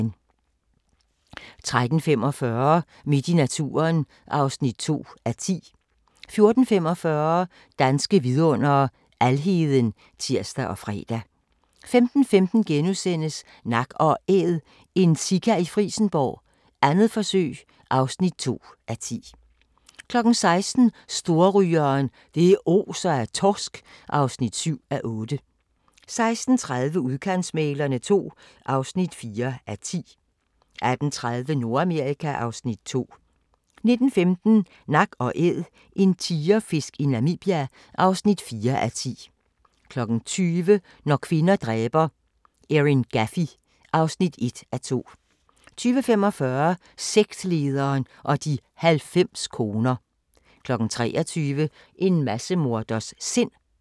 13:45: Midt i naturen (2:10) 14:45: Danske Vidundere: Alheden (tir og fre) 15:15: Nak & Æd – en sika i Frijsenborg, 2. forsøg (2:10)* 16:00: Storrygeren – det oser af torsk (7:8) 16:30: Udkantsmæglerne II (4:10) 18:30: Nordamerika (Afs. 2) 19:15: Nak & Æd – en tigerfisk i Namibia (4:10) 20:00: Når kvinder dræber - Erin Gaffy (1:2) 20:45: Sektlederen og de 90 koner 23:00: En massemorders sind